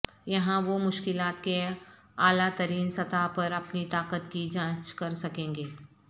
یہاں وہ مشکلات کے اعلی ترین سطح پر اپنی طاقت کی جانچ کر سکیں گے